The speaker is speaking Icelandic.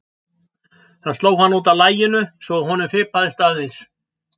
Það sló hann út af laginu svo að honum fipaðist aðeins.